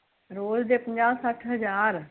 ਰੋਜ ਦੇ ਪੰਜਾਹ ਹਜ਼ਾਰ ਸੱਠ ਹਜ਼ਾਰ?